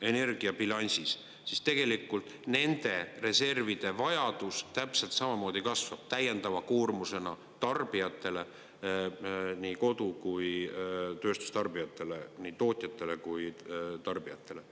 energiabilansis, siis tegelikult nende reservide vajadus täpselt samamoodi kasvab täiendava koormusena tarbijatele, nii kodu- kui tööstustarbijatele, nii tootjatele kui tarbijatele.